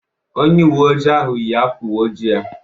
Onye uwe ojii ahụ yi ákwá uwe ojii ya.